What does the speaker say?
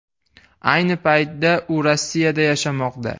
Ayni paytda u Rossiyada yashamoqda.